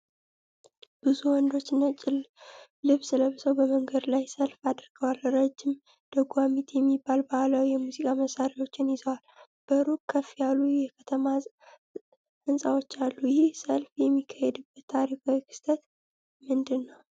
ብዙ ወንዶች ነጭ ልብስ ለብሰው በመንገድ ላይ ሰልፍ አድርገዋል። ረጅም፣ ደጓሚት የሚባሉ ባህላዊ የሙዚቃ መሣሪያዎችን ይዘዋል። በሩቅ ከፍ ያሉ የከተማ ሕንፃዎች አሉ። ይህ ሰልፍ የሚካሄድበት ታሪካዊ ክስተት ምንድን ነው?